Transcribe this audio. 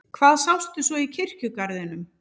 Hvað sástu svo í kirkjugarðinum?